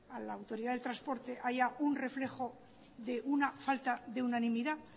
a la autoridad de transporte que haya un reflejo de una falta de unanimidad